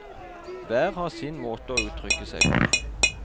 Hver har sin måte å uttrykke seg på.